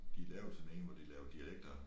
De lavede sådan en hvor de lavede dialekter